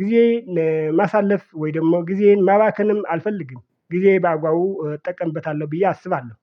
ጊዜ ለማሳለፍ ወይ ደግሞ ጊዜን ማባከንም አልፈልግም። ጊዜ በአጓው እጠቀምበታለሁ ብዬ አስባለሁ።